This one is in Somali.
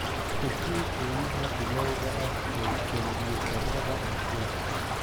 i sii qiimaha bilowga ah ee kombuyuutarrada acer